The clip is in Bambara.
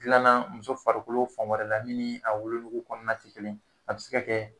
Dilanna muso farikolo fan wɛrɛ la min a wolonugu kɔnɔna tɛ kelen ye a bɛ se ka kɛ